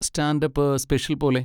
Stand up special പോലെ.